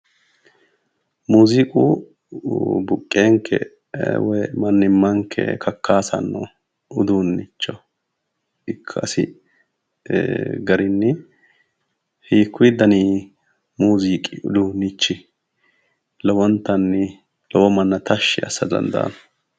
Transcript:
Muuziiqu buqqeenke woy mannimmanke kakkaasanno uduunnicho ikkasi garinni hiikkuyi daninni muuziiqi uduunnichi lowontanni lowo manna tashshi assa dandaanno?